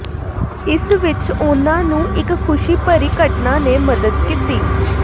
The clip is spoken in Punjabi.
ਇਸ ਵਿਚ ਉਨ੍ਹਾਂ ਨੂੰ ਇਕ ਖੁਸ਼ੀ ਭਰੀ ਘਟਨਾ ਨੇ ਮਦਦ ਕੀਤੀ